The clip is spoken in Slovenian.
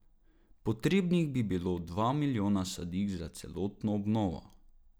Potrebnih bi bilo dva milijona sadik za celotno obnovo.